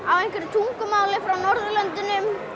tungumáli frá Norðurlöndum